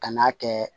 Ka n'a kɛ